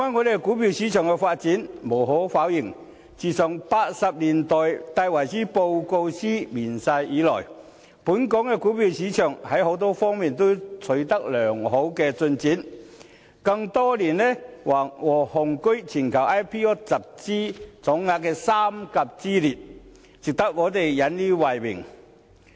說回股票市場的發展，無可否認，自1980年代戴維森報告書面世以來，本港的股票市場在多方面均取得良好的進展，更多年雄踞全球 IPO 集資總額的三甲之列，值得我們引以為榮。